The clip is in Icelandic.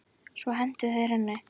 Svo hentu þeir henni.